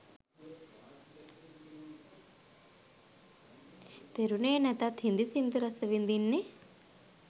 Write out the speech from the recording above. තෙරුනේ නැතත් හින්දි සින්දු රසවිදින්නෙ